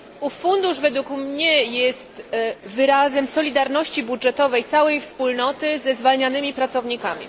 Ów fundusz według mnie jest wyrazem solidarności budżetowej całej Wspólnoty ze zwalnianymi pracownikami.